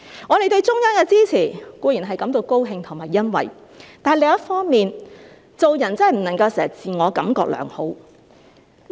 我們對中央的支持固然感到高興和欣慰，但另一方面，做人真的不能夠經常自我感覺良好。